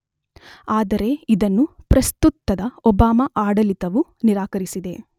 ಆದರೆ ಇದನ್ನು ಪ್ರಸ್ತುತದ ಒಬಾಮ ಆಡಳಿತವು ನಿರಾಕರಿಸಿದೆ.